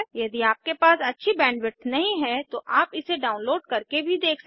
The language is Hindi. यदि आपके पास अच्छी बैंडविड्थ नहीं है तो आप इसे डाउनलोड करके भी देख सकते हैं